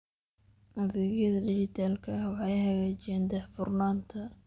Adeegyada dijitaalka ah waxay hagaajiyaan daahfurnaanta.